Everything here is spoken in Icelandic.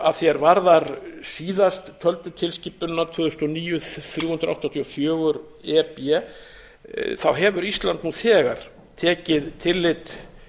að því er varðar síðasttöldu tilskipunina tvö þúsund og níu þrjú hundruð áttatíu og fjögur e b hefur ísland nú þegar tekið tillit